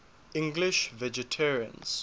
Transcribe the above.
english vegetarians